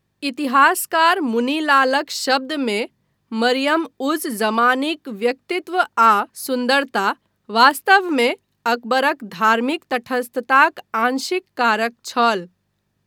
इतिहासकार मुनि लालक शब्दमे 'मरियम उज जमानीक व्यक्तित्व आ सुन्दरता वास्तवमे अकबरक धार्मिक तटस्थताक आंशिक कारक छल।'